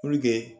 Puruke